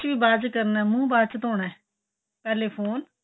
brush ਵੀ ਬਾਚ ਕਰਨਾ ਏ ਮੁੱਹ ਬਾਹਚ ਧੋਣਾ ਏ ਪਹਿਲੇ ਫੋਨ